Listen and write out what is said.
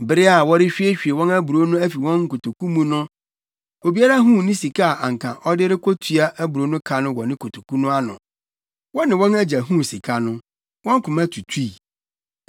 Bere a wɔrehwiehwie wɔn aburow no afi wɔn nkotoku no mu no, obiara huu ne sika a anka ɔde rekotua aburow no ka wɔ ne kotoku no ano. Wɔne wɔn agya huu sika no, wɔn koma tutui.